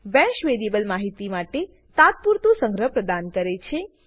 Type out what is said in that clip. bash variable માહિતી માટે તાતપુરતું સંગ્રહ પ્રદાન કરે છે